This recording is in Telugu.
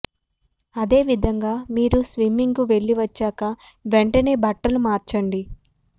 అదేవిధంగా మీరు స్విమ్మింగ్ కు వెళ్ళి వచ్చిన వెంటనే బట్టలు మార్చండి